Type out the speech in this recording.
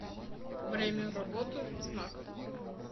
время работы знак